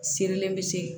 Sirilen bɛ se